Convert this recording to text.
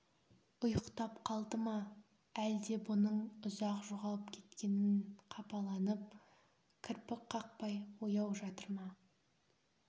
ұйықтап қалды ма әлде бұның ұзақ жоғалып кеткенін қапаланып кірпік қақпай ояу жатыр ма